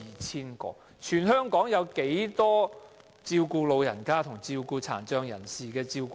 全香港有多少名長者和殘障人士的照顧者？